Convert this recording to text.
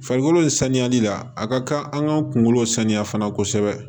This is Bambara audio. Farikolo in sanuyali la a ka kan an k'an kunkolo sanuya fana kosɛbɛ